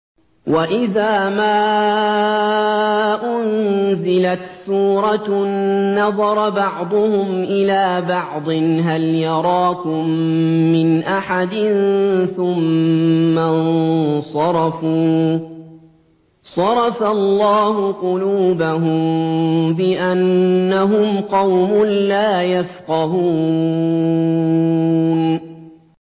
وَإِذَا مَا أُنزِلَتْ سُورَةٌ نَّظَرَ بَعْضُهُمْ إِلَىٰ بَعْضٍ هَلْ يَرَاكُم مِّنْ أَحَدٍ ثُمَّ انصَرَفُوا ۚ صَرَفَ اللَّهُ قُلُوبَهُم بِأَنَّهُمْ قَوْمٌ لَّا يَفْقَهُونَ